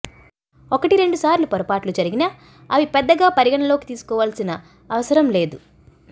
ఒకటి రెండు సార్లు పొరపాట్లు జరిగినా అవి పెద్దగా పరిగణలోకి తీసుకోవలసిన అవసరం లేదు